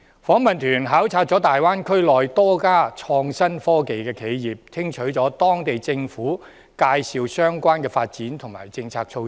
訪問團考察大灣區內多家創新科技的企業，聽取了當地政府介紹相關的發展和政策措施。